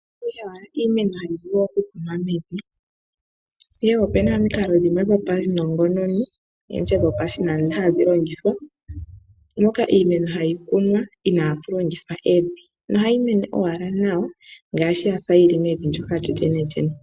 Opu na owala iimeno ihayi vulu okukunwa mevi, ihe opu na omikalo dhopaunongononi, ndi tye dhopashinanena hadhi longithwa mpoka iimeno hayi kunwa inaapu longithwa evi nohayi meni owala nawa ngaashi ka ya fa yi li mevi lyo lyenelyene.